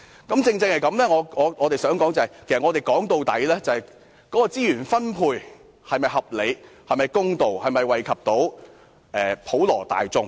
我正正想指出，問題的核心在於資源分配是否合理公道，以及能否惠及普羅大眾。